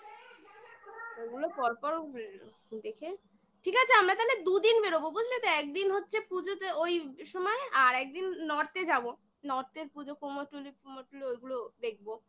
ওগুলো পর পর দেখে ঠিক আছে আমরা তালে দুদিন বেরোবো বুঝলে তো একদিন হচ্ছে পুজোতে ওই সময় আর একদিন north -এ যাবো north -এর পুজো কুমরটুলি ফুমরটুলি ওগুলো দেখবো